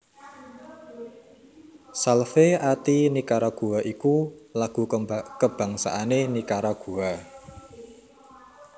Salve a ti Nicaragua iku lagu kabangsané Nikaragua